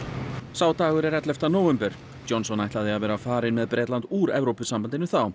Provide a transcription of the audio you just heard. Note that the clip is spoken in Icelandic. sá dagur er ellefta nóvember Johnson ætlaði að vera farinn með Bretland út Evrópusambandinu þá